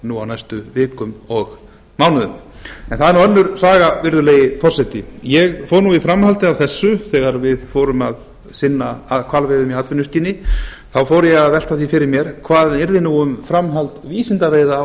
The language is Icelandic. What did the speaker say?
nú á næstu vikum og mánuðum en það er sönnur saga virðulegi forseti ég fór í framhaldi af þessu þegar við fórum að sinna hvalveiðum í atvinnuskyni þá fór ég að velta fyrir mér hvað yrði um framhald vísindaveiða á